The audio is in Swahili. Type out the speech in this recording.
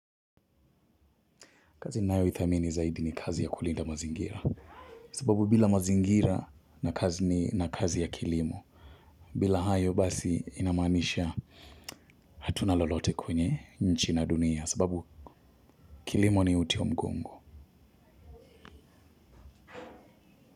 Kazi ninayoithamini zaidi ni kazi ya kulinda mazingira. Sababu bila mazingira na kazi ni na kazi ya kilimo. Bila hayo basi ina maanisha hatuna lolote kwenye nchi na dunia sababu kilimo ni uti wa mgongo.